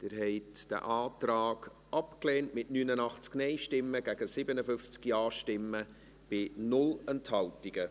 Sie haben diesen Antrag abgelehnt, mit 89 Nein- gegen 57 Ja-Stimmen, bei 0 Enthaltungen.